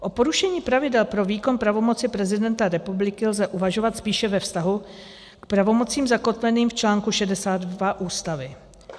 O porušení pravidel pro výkon pravomocí prezidenta republiky lze uvažovat spíše ve vztahu k pravomocím zakotveným v článku 62 Ústavy.